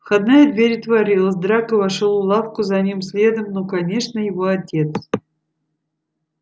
входная дверь отворилась драко вошёл в лавку за ним следом ну конечно его отец